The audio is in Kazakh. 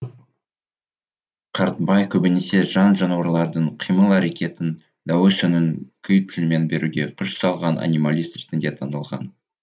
қартбай көбінесе жан жануарлардың қимыл әрекетін дауыс үнін күй тілімен беруге күш салған анималист ретінде танылған